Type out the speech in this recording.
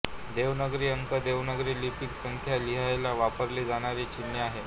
देवनागरी अंक देवनागरी लिपीत संख्या लिहायला वापरली जाणारी चिन्हे आहेत